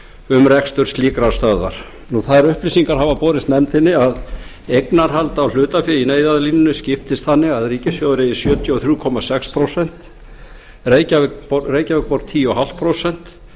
um rekstur slíkrar stöðvar þær upplýsingar hafa borist nefndinni að eignarhald á hlutafé á neyðarlínunni skiptist þannig að ríkissjóður eigi sjötíu og þrjú komma sex prósent reykjavíkurborg tíu komma fimm prósent